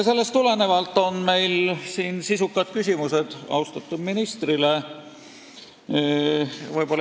Sellest tulenevalt on meil sisukad küsimused austatud ministrile.